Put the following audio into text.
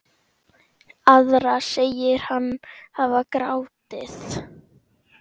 Aðra segir hann hafa grátið.